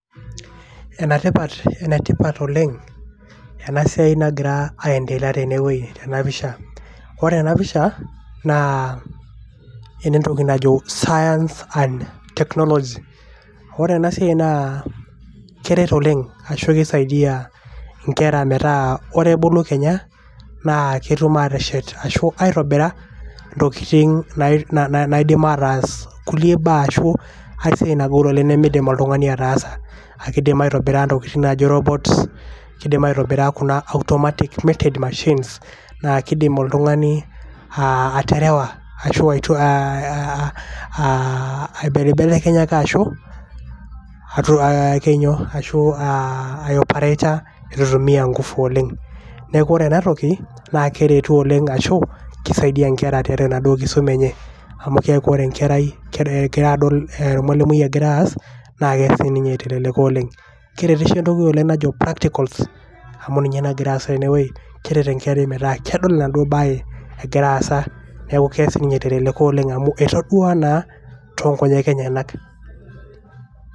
enatipat enetipat oleng ena siai nagira aendelea tenewue tena pisha. ore ena pisha naa enetoki najo science and technology ore ena siai naa keret oleng ashu kisaidia metaa ore ebulu kenya naa ketum ateshet ashu aitobira ntokitin ataas kulie baa ashu a e siai